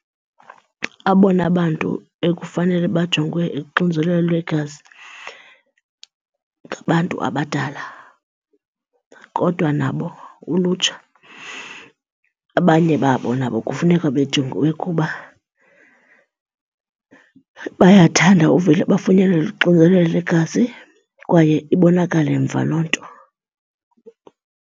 Abona bantu ekufanele bajongwe uxinzelelo lwegazi ngabantu abadala, kodwa nabo ulutsha abanye babo nabo kufuneka bejongiwe. Kuba bayathanda uvele bafunyanwe luxinzelelo lwegazi kwaye ibonakale mva loo nto.